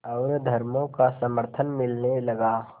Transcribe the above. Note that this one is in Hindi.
और धर्मों का समर्थन मिलने लगा